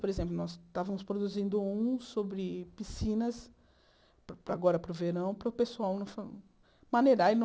Por exemplo, nós estávamos produzindo um sobre piscinas, agora para o verão, para o pessoal não fa maneirar e não...